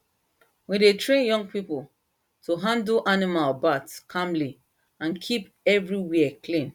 we dey train young people to handle animal birth calmly and keep everywhere clean